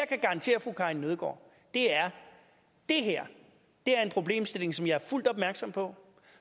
kan garantere fru karin nødgaard er det her er en problemstilling som jeg er fuldt opmærksom på